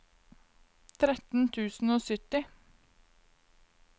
tretten tusen og sytti